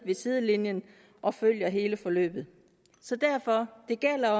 sidelinjen og følger hele forløbet så derfor gælder